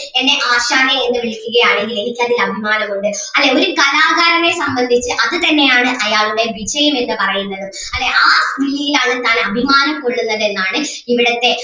എന്നെ ആശാനേ എന്ന് വിളിക്കുകയാണെങ്കിൽ എനിക്ക് അതിൽ അഭിമാനം ഉണ്ട് അല്ലെങ്കിൽ കലാകാരനെ സംബന്ധിച്ച് അത് തന്നെ ആണ് അയാളുടെ വിജയം എന്ന് പറയുന്നത് അല്ലേ ആ വിളിയിൽ ആണ് താൻ അഭിമാനം കൊള്ളുന്നത് എന്നാണ് ഇവിടത്തെ